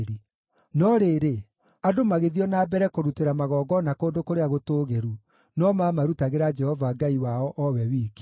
No rĩrĩ, andũ magĩthiĩ o na mbere kũrutĩra magongona kũndũ kũrĩa gũtũũgĩru, no mamarutagĩra Jehova Ngai wao o we wiki.